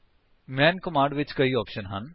ਮੈਨ command ਵਿੱਚ ਕਈ option ਹਨ